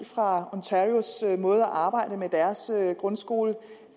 fra ontarios måde at arbejde med deres grundskole